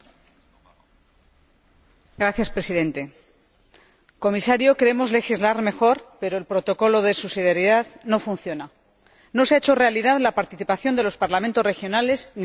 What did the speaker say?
Señor Presidente, señor Comisario, queremos legislar mejor, pero el protocolo de subsidiariedad no funciona no se ha hecho realidad la participación de los Parlamentos regionales ni la de los estatales.